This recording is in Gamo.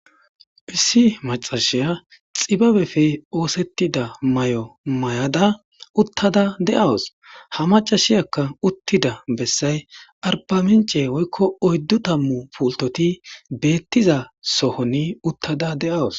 Issi macashiya xibabefe oosettida may7o may7ada uttada de7awus ha macashiyakka uttida bessay arpamince woykko oyddu tammu pultoti beettiza sohoni uttada de'awus